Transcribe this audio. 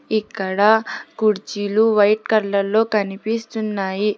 ఇక్కడ కుర్చీలు white colour లో కనిపిస్తున్నాయి.